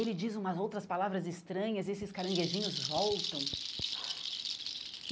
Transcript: Ele diz umas outras palavras estranhas e esses caranguejinhos voltam.